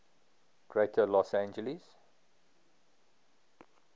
greater los angeles